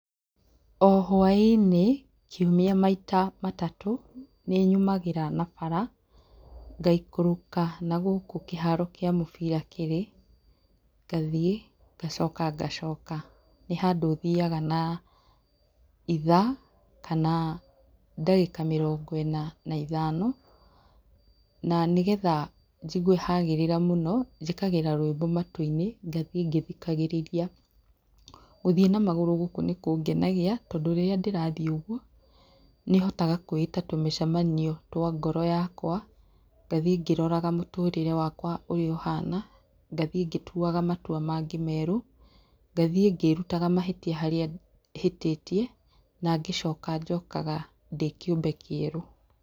O hwaĩ-inĩ, kiumia maita matatũ, nĩnyumagĩra na bara ngaikũrũka nagũkũ kĩharo kĩa mũbira kĩrĩ ngatiĩ, ngacoka ngacooka. Nĩhandũ thiaga na ithaa kana ndagĩka mĩrongo ĩna na ithano. Na nĩgetha njigue hagĩrĩra mũno, njĩkagĩra rwĩmbo matũ-inĩ ngathiĩ ngĩthikagĩrĩrĩa. Gũthiĩ na magũrũ gũkũ nĩkũngenagia, tondũ rĩrĩa ndĩrathiĩ ũguo, nĩhotaga kwĩĩta tũmĩcamanio twa ngoro yakwa ngathiĩ ngĩroraga mũtũrĩre wakwa ũrĩa ũhana, ngathiĩ ngĩtuaga matua mangĩ meerũ, ngathiĩ ngĩrutaga mahĩtia harĩa hĩtĩtie na ngĩcoka njokaga ndĩ kĩũmbe kĩerũ.